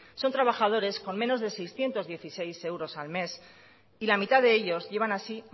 son trabajadores con menos de seiscientos dieciséis euros al mes y la mitad de ellos llevan así